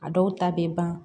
A dɔw ta bɛ ban